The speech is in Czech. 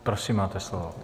Prosím, máte slovo.